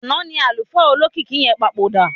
Àná ni àlùfáà olókìkí yẹn papòdà.